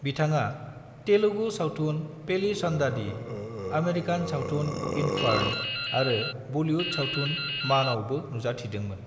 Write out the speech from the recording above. बिथाङा तेलुगु सावथुन, पेली सन्दादी, आमेरिकान सावथुन, इन्फार्न' आरो बलीवुड सावथुन, मानआवबो नुजाथिदोंमोन।